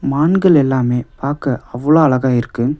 மான்கள் எல்லாமே பாக்க அவ்வளவு அழகா இருக்கு.